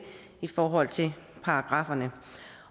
i forhold til paragrafferne